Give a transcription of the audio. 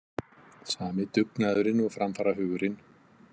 Sami dugnaðurinn og framfarahugurinn.